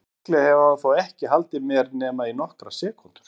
Líklega hefur hann þó ekki haldið mér nema í nokkrar sekúndur.